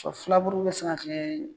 Filaburu bɛ sin ka kɛ